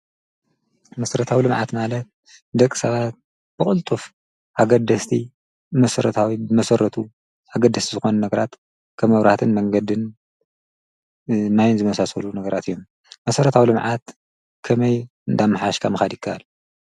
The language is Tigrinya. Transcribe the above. መሰረታው ልምዓት ማለት ደቂ ሰባት ብቕልጡፍ ሓገደስቲ መሠረታዊ ብመሠረቱ ሓገደስቲ ዝኾኑ ነገራት ከም ኣብነት መንገድን ማይን ዝመሳሰሉ ነገራት እዮም፡፡ መሠረታዊ ልምዓት ከመይ እንዳ ኣማሓየሽካ መኻድ የካኣል?